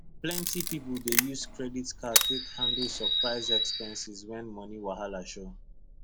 plenty people dey use credit card take handle surprise expenses when money wahala show